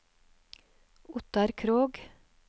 Ottar Krogh